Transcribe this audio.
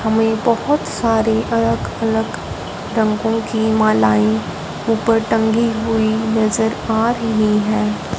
हमें बहोत सारी अलग अलग रंगों की मलाये ऊपर टंगी हुई नजर आ रही है।